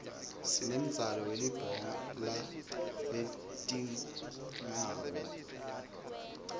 sinemdzalo welibhola letingawo